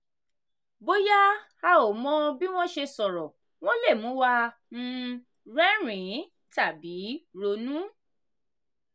bóyá a ò mọ bí wọ́n ṣe sọ̀rọ̀ wọ́n lè mú wa um rẹ́rìn-ín tàbí ronú.